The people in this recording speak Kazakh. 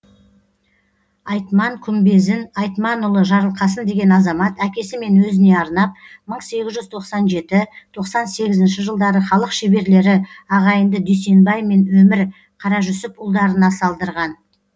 айтман күмбезін айтманұлы жарылқасын деген азамат әкесі мен өзіне арнап мың сегіз жүз тоқсан жеті тоқсан сегізінші жылдары халық шеберлері ағайынды дүйсенбай мен өмір қаражүсіпұлдарына салдырған